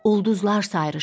Ulduzlar sayrışır.